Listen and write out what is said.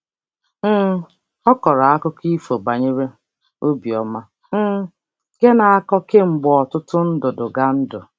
um Ọ kọrọ akụkọ ifo banyere obiọma um nke a na-akọ kemgbe ọtụtụ ndudugandu.